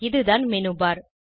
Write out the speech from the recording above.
இதுதான் மெனுபர்